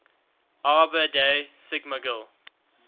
arbor day sikmogil